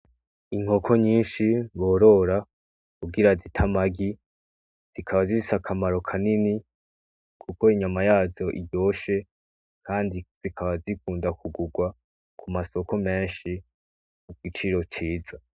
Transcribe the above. Inkoko nyinshi borora kugira zite amagi zikaba zifise akamaro kanini kuko inyama yazo iryoshe kandi zikaba zikunda kugurwa ku masoko menshi ku giciro ciza.